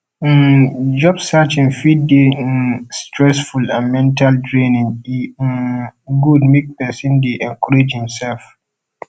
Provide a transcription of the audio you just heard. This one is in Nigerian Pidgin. um job searching fit de um stressful and mental draining e um good make persin de encourage himself